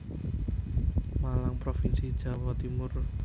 Malang Provinsi Jawa Timur